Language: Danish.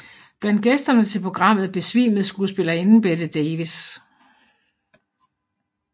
Blandt gæsterne til programmet besvimede skuespillerinden Bette Davis